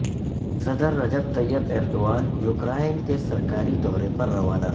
صدر Recep Tayyip Erdogan Ukraine کے سرکاری دورے پر روانہ